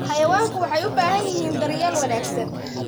Xayawaanku waxay u baahan yihiin daryeel wanaagsan.